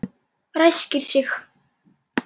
Ræskir sig.